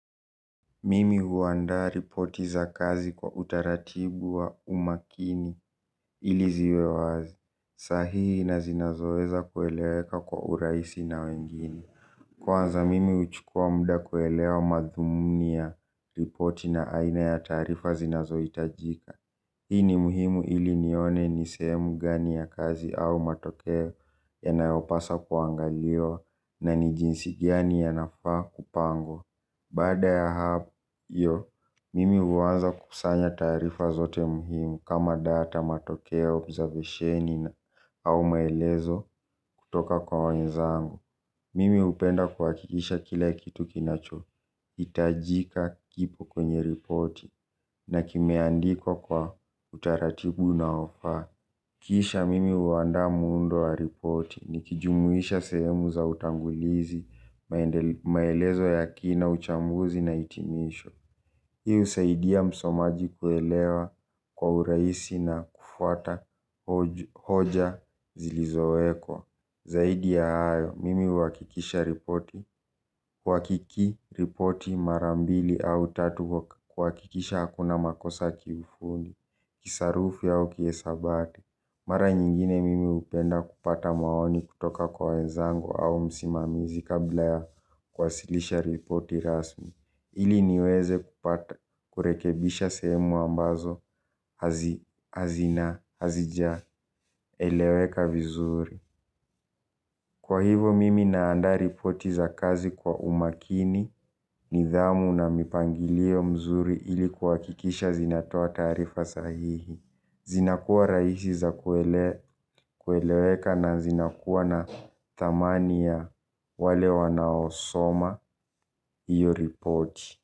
Mimi huandaa ripoti za kazi kwa utaratibu wa umakini ili ziwe wazi sahihi na zinazoweza kueleweka kwa urahisi na wengine. Kwanza mimi huchukua muda kuelewa madhumuni ya ripoti na aina ya taarifa zinazohitajika. Hii ni muhimu ili nione ni sehemu gani ya kazi au matokeo yanayopasa kuangaliwa na ni jinsi gani yanafa kupangwa. Baada ya hayo, mimi huanza kusanya taarifa zote muhimu kama data matokeo observation na au maelezo kutoka kwa wenzangu. Mimi hupenda kuhakikisha kila kitu kinachohitajika kipo kwenye reporti na kimeandikwa kwa utaratibu unaofaa. Kisha mimi huandaa muundo wa ripoti, nikijumuisha sehemu za utangulizi, maelezo ya kina, uchambuzi na hitimisho. Hii husaidia msomaji kuelewa kwa urahisi na kufuata hoja zilizowekwa. Zaidi ya hayo, mimi huhakikisha ripoti, kuhakiki ripoti mara mbili au tatu kuhakikisha hakuna makosa ya kifundi, kisarufi au kihesabati. Mara nyingine mimi hupenda kupata maoni kutoka kwa wenzangu au msimamizi kabla ya kuwasilisha ripoti rasmi. Ili niweze kupata kurekebisha sehemu ambazo hazina hazija eleweka vizuri. Kwa hivo mimi naanda ripoti za kazi kwa umakini nidhamu na mipangilio mzuri ilikuwa kuhakikisha zinatoa taarifa sahihi. Zinakuwa rahisi za kueleweka na zinakuwa na thamani ya wale wanaosoma iyo report.